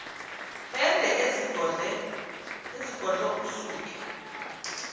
ende ezigodlo isuke